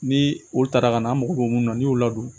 Ni o taara ka na an mago bɛ mun na n'i y'o ladon